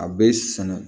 A bɛ sɛnɛ